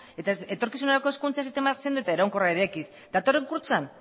eta etorkizunerako hezkuntza sistema sendo eta iraunkorra eraikiz datorren kurtsoan